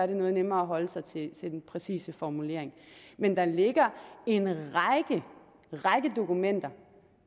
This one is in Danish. det noget nemmere at holde sig til den præcise formulering men der ligger en række dokumenter